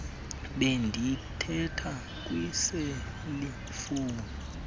bendithetha kwiseli fowuni